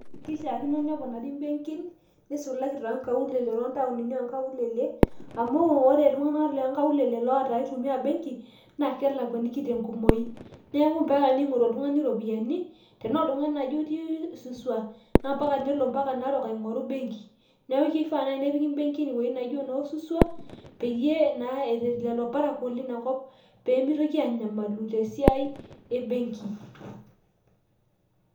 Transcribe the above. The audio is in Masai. Keishakino neponari mbenkin nisulaki tonkaulele tontaunini onkaulele amu wore ltunganak loonkaulele oitumia mbenkii ,na kelakwakino tenkumoi neaku mpaka ningoru oltungani ropiyiani tena oltungani naji otii suswa na ambaka peelo narok aingoru embenki, neaku keyiu nai nepiki mbenkini ewoi nijo suswa peyie naa etil lolo parakuo lina kop pemeitoki anyamalu ten siaai ebenki.